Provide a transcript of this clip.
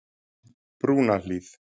Brúnahlíð